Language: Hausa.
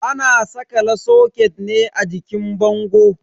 Ana sakala soket ne a jikin bango.